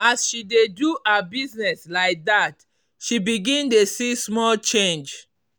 as she dey do her business like that she begin dey see small change.